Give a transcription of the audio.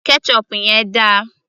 ketchup yẹn dà